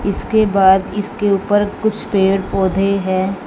इसके बाद इसके ऊपर कुछ पेड़ पौधे है।